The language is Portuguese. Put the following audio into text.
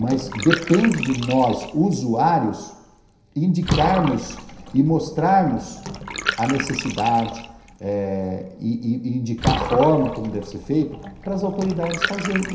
Mas depende de nós, usuários, indicarmos e mostrarmos a necessidade eh e e indicar a forma como deve ser feita para as autoridades fazerem.